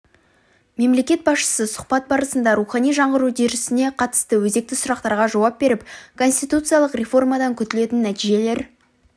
мемлекет басшысы сұхбат барысында рухани жаңғыру үдерісіне қатысты өзекті сұрақтарға жауап беріп конституциялық реформадан күтілетін нәтижелер